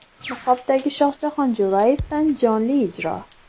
Niqobdagi Shohjahon Jo‘rayevdan jonli ijro.